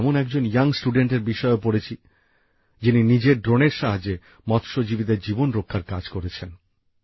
আমি এমন একজন কম বয়সি ছাত্রের বিষয়েও পড়েছি যিনি নিজের ড্রোনের সাহায্যে মৎস্যজীবীদের জীবন রক্ষার কাজ করেছেন